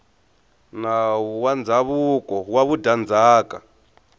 nawu wa ndzhavuko wa vudyandzhaka